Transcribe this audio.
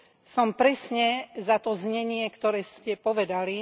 Som presne za to znenie, ktoré ste povedali.